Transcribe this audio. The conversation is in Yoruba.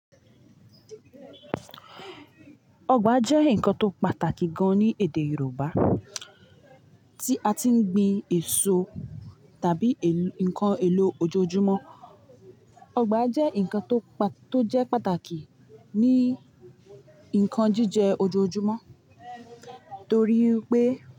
Ọgbà jẹ́ nǹkan tó pàtàkì gan ní èdè Yorùbá tí a ti ń gbin èso tàbí nǹkan èlò ojoojúmọ́. Ọgbà jẹ́ nǹkan tó jẹ́ pàtàkì ní ǹkan jíjẹ ojoojúmọ́ torí pé.